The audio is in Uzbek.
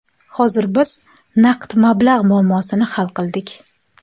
Hozir biz naqd mablag‘ muammosini hal qildik.